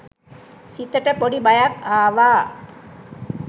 සිතට පොඩි බයක් ආවා